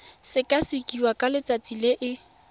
sekasekiwa ka letsatsi le e